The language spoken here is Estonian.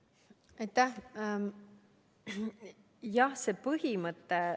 Aitäh!